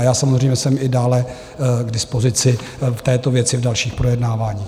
A já samozřejmě jsem i dále k dispozici v této věci v dalších projednávání.